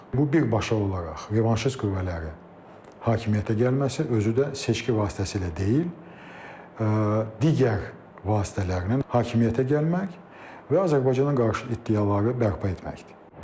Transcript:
Bu birbaşa olaraq revanşist qüvvələrin hakimiyyətə gəlməsi, özü də seçki vasitəsilə deyil, digər vasitələrlə hakimiyyətə gəlmək və Azərbaycana qarşı iddiaları bərpa etməkdir.